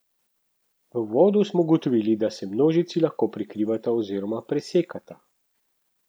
V uvodu smo ugotovili, da se množici lahko prekrivata oziroma presekata.